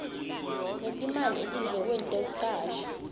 ngetimali etindlekweni tekucasha